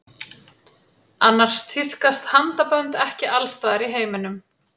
Annars tíðkast handabönd ekki alls staðar í heiminum.